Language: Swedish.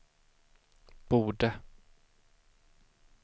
borde